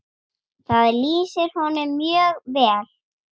Það lýsir honum mjög vel.